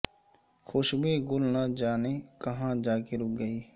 خوشبوئے گل نہ جانے کہاں جا کے رہ گئی